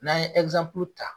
N'an ye ta.